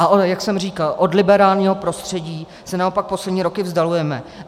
Ale jak jsem říkal, od liberálního prostředí se naopak poslední roky vzdalujeme.